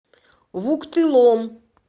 вуктылом